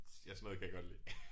Ja sådan noget kan jeg godt lide